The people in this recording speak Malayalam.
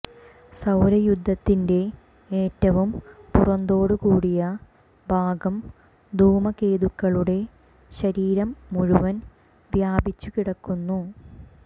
സൌരയൂഥത്തിന്റെ ഏറ്റവും പുറന്തോടുകൂടിയ ഭാഗം ധൂമകേതുക്കളുടെ ശരീരം മുഴുവൻ വ്യാപിച്ചു കിടക്കുന്നു